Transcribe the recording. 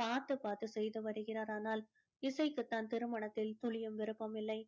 பார்த்து பார்த்து செய்து வருகிறார் ஆனால் இசைக்கு தான் திருமணத்தில துளியும் விருப்பம் இல்லை